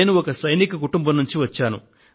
నేను ఒక సైనిక కుటుంబం నుండి వచ్చాను